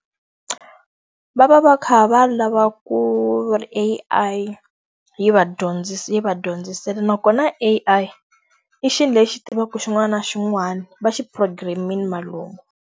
Va va va kha va lava ku ri A_I yi va yi va dyondzisile. Nakona A_I, i xilo lexi tivaka xin'wana na xin'wana, va xi program-ile valungu.